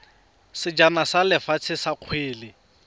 sejana sa lefatshe sa kgwele